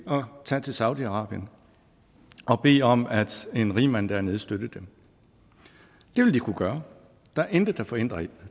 tage til saudi arabien og bede om at en rigmand dernede støttede dem det vil de kunne gøre der er intet der forhindrer